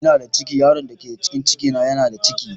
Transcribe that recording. Ina da ciki, yaron da ke cikin cikin na yana da ciki